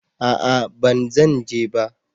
A'a ban zan je ba